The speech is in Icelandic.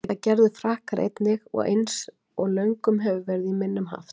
Það gerðu Frakkar einnig, eins og löngum hefur verið í minnum haft.